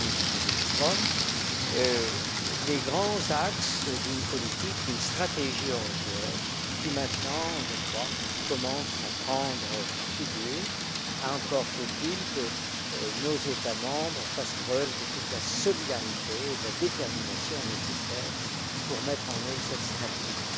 M. le ministre Billström, les grands axes d'une politique, d'une stratégie européenne qui, maintenant, je crois, commence à prendre figure. Encore faut il que nos États membres fassent preuve de toute la solidarité et de la détermination nécessaires pour mettre en œuvre cette stratégie.